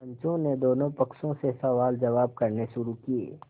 पंचों ने दोनों पक्षों से सवालजवाब करने शुरू किये